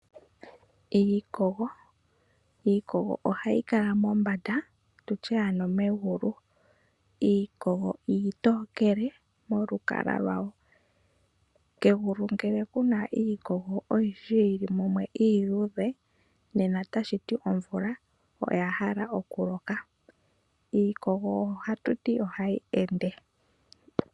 Iikogo ohayi mombanda tutye ano megulu. Iikogo iitookele molwaala lwa wo. Kegulu ngele kuna iikogo oyindji yili mumwe iiluudhe, nena otashi ti omvula ohaya hala okuloka. Iikogo ohatu ti ohayi ende.